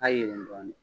Ka yɛlɛn dɔɔnin